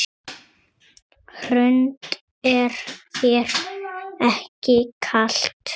Hrund: Er þér ekki kalt?